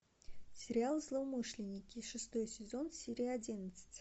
сериал злоумышленники шестой сезон серия одиннадцать